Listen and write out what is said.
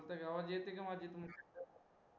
बोलतोय, आवाज येति का माझी